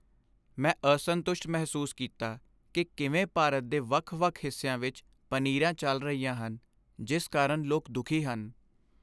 ਮੈਂ ਅਸੰਤੁਸ਼ਟ ਮਹਿਸੂਸ ਕੀਤਾ ਕਿ ਕਿਵੇਂ ਭਾਰਤ ਦੇ ਵੱਖ ਵੱਖ ਹਿੱਸਿਆਂ ਵਿੱਚ ਪਨੀਰਾਂ ਚੱਲ ਰਹੀਆਂ ਹਨ ਜਿਸ ਕਾਰਨ ਲੋਕ ਦੁਖੀ ਹਨ